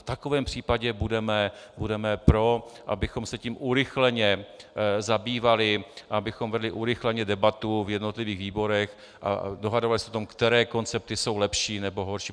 V takovém případě budeme pro, abychom se tím urychleně zabývali, abychom vedli urychleně debatu v jednotlivých výborech a dohadovali se o tom, které koncepty jsou lepší, nebo horší.